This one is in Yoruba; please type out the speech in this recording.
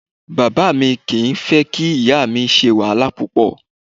Bàbá mi kì í fẹ́ kí ìyá mi ṣe wàhálà púpọ̀